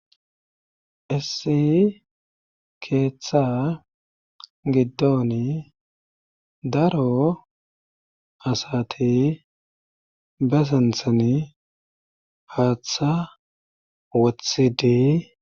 issi keeththa giddoni daro asati basanthan haaththa wothidi